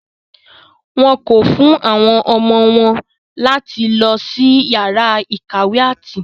Wọ́n kọ̀ fún àwọn ọmọ wọn láti lọ sí yàrá ìkàwé áàtì.